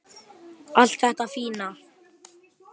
Allt þetta fína.